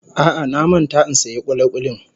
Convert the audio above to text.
A'a, na manta in siyan kulikuli.